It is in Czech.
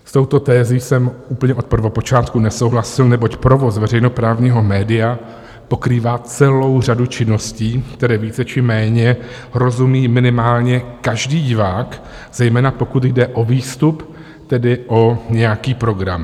S touto tezí jsem úplně od prvopočátku nesouhlasil, neboť provoz veřejnoprávního média pokrývá celou řadu činností, které více či méně rozumí minimálně každý divák, zejména pokud jde o výstup, tedy o nějaký program.